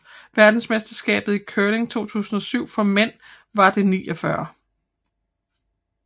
Verdensmesterskabet i curling 2007 for mænd var det 49